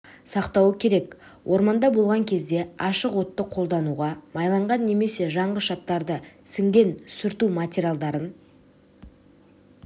сақтауы керек орманда болған кезде ашық отты қолдануға майланған немесе жанғыш заттары сіңген сүрту материалдарын